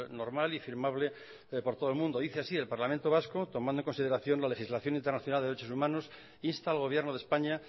normal y firmable por todo el mundo dice así el parlamento vasco tomando en consideración la legislación internacional de derechos humanos insta al gobierno de españa